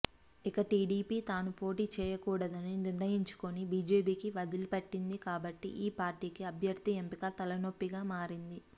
ఇక టీడీపీ తాను పోటీ చేయకూడదని నిర్ణయించుకొని బీజేపీకి వదిలిపెట్టింది కాబట్టి ఈ పార్టీకి అభ్యర్థి ఎంపిక తలనొప్పిగా మారింది